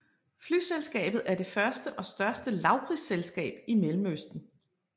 Flyselskabet er det første og største lavprisselskab i Mellemøsten